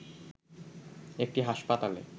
একটি হাসপাতালে